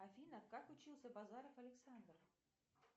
афина как учился базаров александр